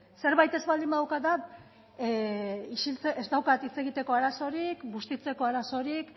zerbait ez baldin badaukat da ez daukadala hitz egiteko arazorik bustitzeko arazorik